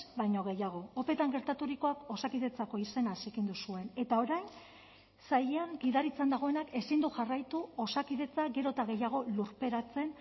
baino gehiago opeetan gertaturikoak osakidetzako izena zikindu zuen eta orain sailean gidaritzan dagoenak ezin du jarraitu osakidetza gero eta gehiago lurperatzen